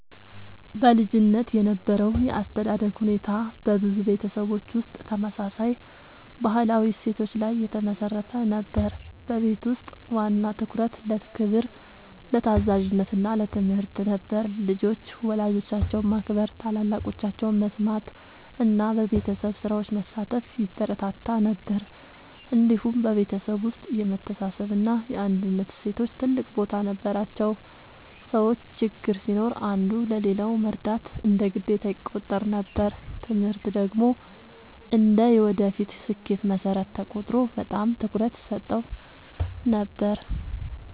በልጅነት የነበረው የአስተዳደግ ሁኔታ በብዙ ቤተሰቦች ውስጥ ተመሳሳይ ባህላዊ እሴቶች ላይ የተመሠረተ ነበር። በቤት ውስጥ ዋና ትኩረት ለክብር፣ ለታዛዥነት እና ለትምህርት ነበር። ልጆች ወላጆቻቸውን ማክበር፣ ታላላቆቻቸውን መስማት እና በቤተሰብ ስራዎች መሳተፍ ይበረታታ ነበር። እንዲሁም በቤተሰብ ውስጥ የመተሳሰብ እና የአንድነት እሴቶች ትልቅ ቦታ ነበራቸው። ሰዎች ችግር ሲኖር አንዱ ለሌላው መርዳት እንደ ግዴታ ይቆጠር ነበር። ትምህርት ደግሞ እንደ የወደፊት ስኬት መሠረት ተቆጥሮ በጣም ትኩረት ይሰጠው ነበር።